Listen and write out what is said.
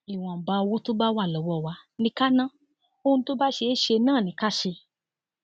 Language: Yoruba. ìwọnba owó tó bá wà lọwọ wa ni ká ná ohun tó bá ṣeé ṣe náà ni ká ṣe